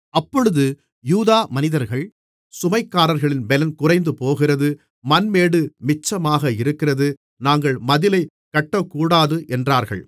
அப்பொழுது யூதா மனிதர்கள் சுமைகாரர்களின் பெலன் குறைந்துபோகிறது மண்மேடு மிச்சமாக இருக்கிறது நாங்கள் மதிலைக் கட்டக்கூடாது என்றார்கள்